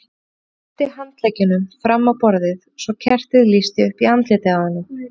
Hann studdi handleggjunum fram á borðið svo kertið lýsti upp andlitið á honum.